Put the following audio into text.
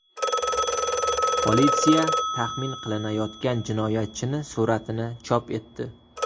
Politsiya taxmin qilinayotgan jinoyatchi suratini chop etdi.